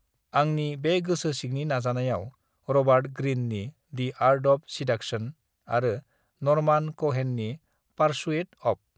आंनि बे गोसो सिंनि नाजानायाव रबार्ट ग्रिन नि डि आर्ट अब सिदाकसन आरो नरमान कहेन नि पारसुइट अब